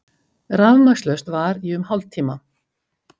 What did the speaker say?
Rafmagnslaust var í um hálftíma